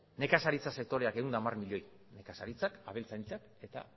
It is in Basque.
nekazaritza sektoreak ehun eta hamar milioi nekazaritzak abeltzaintzak eta